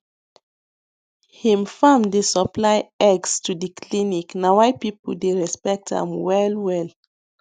him farm dey supply eggs to the clinic na why people dey respect am well well